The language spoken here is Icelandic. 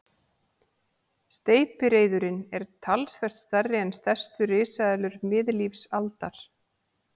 Steypireyðurin er talsvert stærri en stærstu risaeðlur miðlífsaldar.